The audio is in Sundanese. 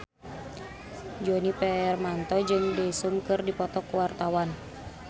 Djoni Permato jeung Daesung keur dipoto ku wartawan